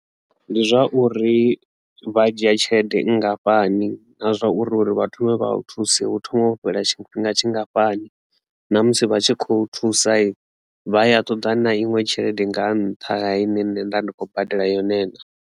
Ndi zwa uri vha dzhia tshelede nngafhani na zwa uri uri vha thome vha thuse hu thoma u fhela tshifhinga tshingafhani na musi vha tshi khou thusa vha ya ṱoḓa na iṅwe tshelede nga nṱha ha ine nṋe nda ndi khou badela yone na.